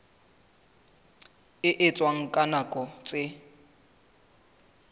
e etswang ka nako tse